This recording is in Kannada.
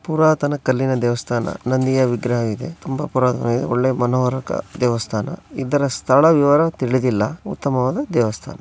ಪುರಾತನ ಕಲ್ಲಿನ ದೇವಸ್ಥಾನ ನಂದಿಯ ವಿಗ್ರಹ ಇದೆ ತುಂಬಾ ಪುರಾತನ ಒಳ್ಳೆಯ ಮನೋಹರಕ ದೇವಸ್ಥಾನ ಇದರ ಸ್ಥಳ ವಿವರ ತಿಳಿದಿಲ್ಲ ಉತ್ತಮವಾದ ದೇವಸ್ಥಾನ.